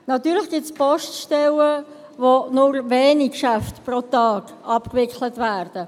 Natürlich gibt es Poststellen, in denen pro Tag nur wenige Geschäfte abgewickelt werden.